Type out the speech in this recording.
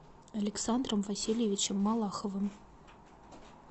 александром васильевичем малаховым